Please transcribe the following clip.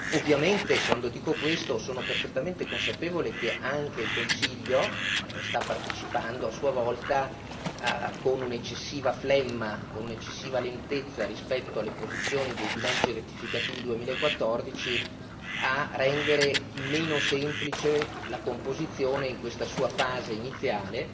Ovviamente quando dico questo sono perfettamente consapevole che anche il Consiglio sta partecipando a sua volta con un'eccessiva flemma, con un'eccessiva lentezza rispetto alle posizioni dei bilanci rettificativi 2014 a rendere meno semplice la composizione in questa sua fase iniziale,